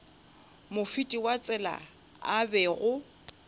mofeti wa tsela a bego